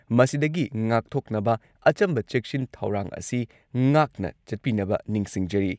ꯃꯁꯤꯗꯒꯤ ꯉꯥꯛꯊꯣꯛꯅꯕ ꯑꯆꯝꯕ ꯆꯦꯛꯁꯤꯟ ꯊꯧꯔꯥꯡ ꯑꯁꯤ ꯉꯥꯛꯅ ꯆꯠꯄꯤꯅꯕ ꯅꯤꯡꯁꯤꯡꯖꯔꯤ